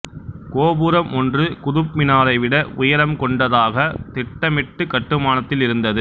கோபுரம் ஒன்று குதுப் மினாரைவிட உயரம் கொண்டதாக திட்டமிட்டு கட்டுமானத்தில் இருந்தது